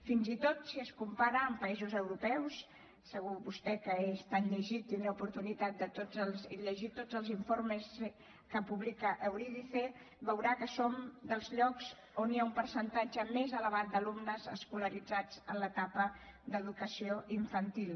fins i tot si es compara amb països europeus segur que vostè que és tan llegit tindrà oportunitat de llegir tots els informes que publica eurydice veurà que som dels llocs on hi ha un percentatge més elevat d’alumnes escolaritzats en l’etapa d’educació infantil